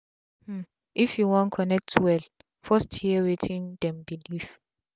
um if u wan connect well first hear wetin dem belief